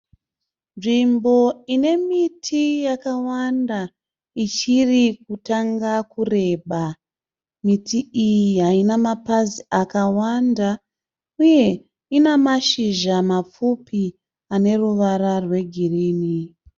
Nzvimbo ine miti yakawanda ichiri kutanga kureba. Miti iyi haina mapazi akawanda uye ina mashizha mapfupi ane ruvara rwegirini.